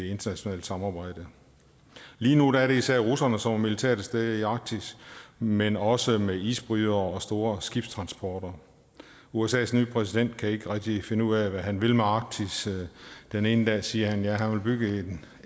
internationale samarbejde lige nu er det især russerne som er militært til stede i arktis men også med isbrydere og store skibstransporter usas nye præsident kan ikke rigtig finde ud af hvad han vil med arktis den ene dag siger han at han vil bygge